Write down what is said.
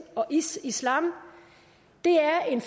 og islam det er en